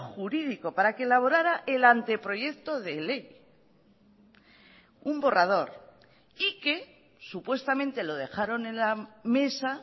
jurídico para que elaborara el anteproyecto de ley un borrador y que supuestamente lo dejaron en la mesa